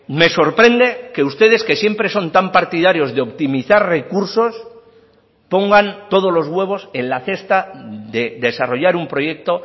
me sorprende que ustedes que siempre son tan partidarios de optimizar recursos pongan todos los huevos en la cesta de desarrollar un proyecto